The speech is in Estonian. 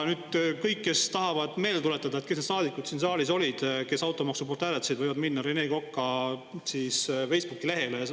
Kõik, kes tahavad meelde tuletada, kes need saadikud siin saalis olid, kes automaksu poolt hääletasid, võivad minna Rene Koka Facebooki lehele.